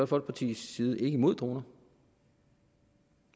folkepartis side imod droner